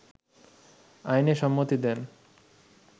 আইনে সম্মতি দেন